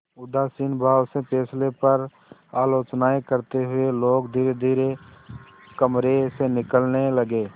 उदासीन भाव से फैसले पर आलोचनाऍं करते हुए लोग धीरेधीरे कमरे से निकलने लगे